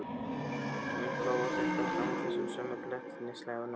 Hún hló og hélt áfram á þessum sömu glettnislegu nótum.